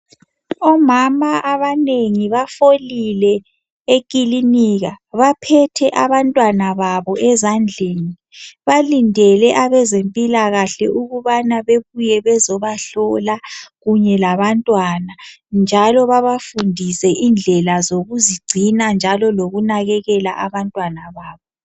Omama abanengi bafolile ekilinika baphethe abantwana babo ezandleni. Balindele abezempilakahle ukubana bebuye bazebahlola kunye labantwana njalo babafundise indlela zokuzigcina njalo lokunakekela abantwana babo.